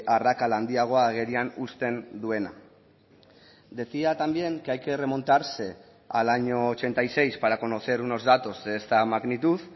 arrakala handiago agerian uzten duena decía también que hay que remontarse al año ochenta y seis para conocer unos datos de esta magnitud